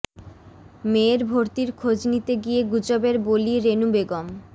মেয়ের ভর্তির খোঁজ নিতে গিয়ে গুজবের বলি রেনু বেগম